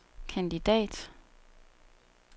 kandidat